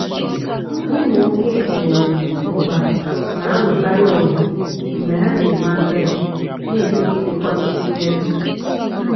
ụmụ oké um ọkpa na-alụkarịọgụ mgbe ha na-eme agadi na-etopụtakwa nnukwu ere